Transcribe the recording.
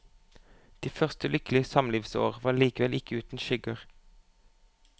De første lykkelige samlivsår var likevel ikke uten skygger.